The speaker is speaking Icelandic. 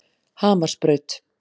Hamarsbraut